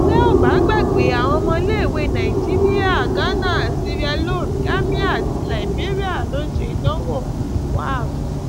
tẹ ò bá gbàgbé àwọn ọmọléèwé nàìjíríà ghana sierra leone gàmíà àti liberia ló ń ṣe ìdánwò wafc